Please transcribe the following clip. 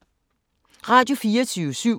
Radio24syv